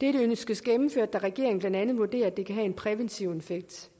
dette ønskes gennemført da regeringen blandt andet vurderer at det kan have en præventiv effekt